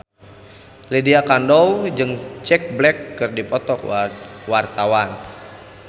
Lydia Kandou jeung Jack Black keur dipoto ku wartawan